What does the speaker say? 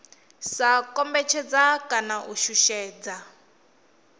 sa kombetshedza kana u shushedza